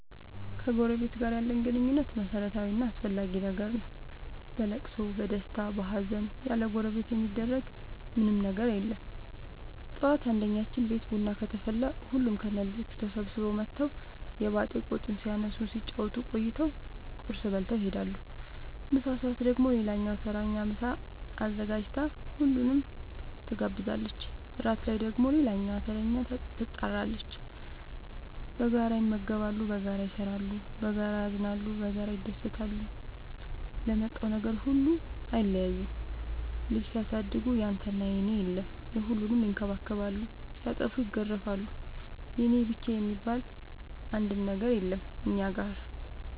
ከጎረበት ጋር ያለን ግንኙነት መረታዊ እና አስፈላጊ ነገር ነው። በለቅሶ በደስታ በሀዘን ያለጎረቤት የሚደረግ ምን ምንም ነገር የለም ጠዋት አንድኛችን ቤት ቡና ከተፈላ ሁሉም ከነ ልጆቹ ተሰብስበው መተው የባጥ የቆጡን ሲያነሱ ሲጫወቱ ቆይተው ቁርስ በልተው ይሄዳሉ። ምሳ ሰአት ደግሞ ሌላኛዋ ተረኛ ምሳ አዘጋጅታ ሁሉንም ትጋብዛለች። እራት ላይ ደግሞ ሌላኛዋተረኛ ትጣራለች። በጋራ ይመገባሉ በጋራ ይሰራሉ። በጋራ ያዝናሉ በጋራ ይደሰታሉ ለመጣው ነገር ሁሉ አይለያዩም ልጅ ሲያሳድጉ ያንተና የኔ የለም የሁሉንም ይከባከባሉ ሲጠፉም ይገርፋሉ የኔ የብቻዬ የሚባል አንድም ነገር የለም እኛ ጋር።